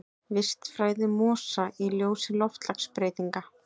Vistfræði mosa í ljósi loftslagsbreytinga.